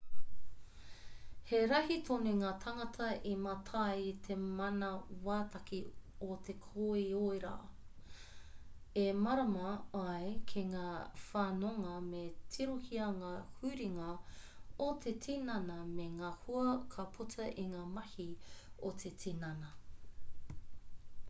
he rahi tonu ngā tāngata i mātai i te manawataki o te koiora e mārama ai ki ngā whanonga me tirohia ngā huringa o te tinana me ngā hua ka puta i ngā mahi a te tinana